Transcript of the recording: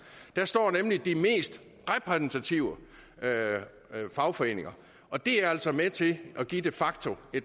der står nemlig de mest repræsentative fagforeninger og det er altså med til at give et de facto